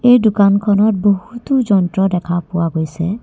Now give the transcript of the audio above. এই দোকানখনত বহুতো যন্ত্ৰ দেখা পোৱা গৈছে।